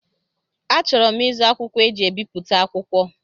Achọrọ m ịzụ akwụkwọ eji ebipụta akwụkwọ.